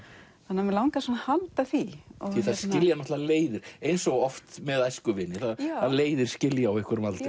mig langaði að halda því því það skilja náttúrulega leiðir eins og oft með æskuvini að leiðir skilja á einhverjum aldri